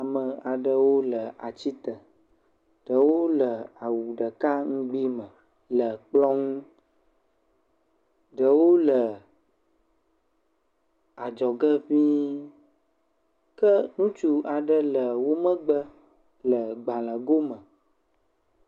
Ame aɖewo le ati te, wole awu ɖeka ŋugbi me, ɖewo le adzɔ ge ŋii ke ŋutsui aɖe le wo megbe le gbalẽgo me.